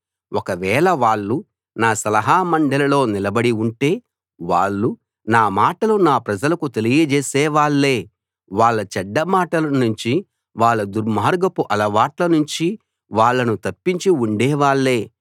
ఒకవేళ వాళ్ళు నా సలహా మండలిలో నిలబడి ఉంటే వాళ్ళు నా మాటలు నా ప్రజలకు తెలియజేసే వాళ్ళే వాళ్ళ చెడ్డ మాటల నుంచి వాళ్ళ దుర్మార్గపు అలవాట్ల నుంచి వాళ్ళను తప్పించి ఉండే వాళ్ళే